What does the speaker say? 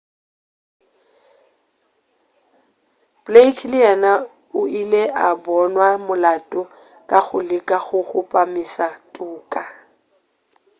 blake le yena o ile a bonwa molato ka go leka go kgopamiša toka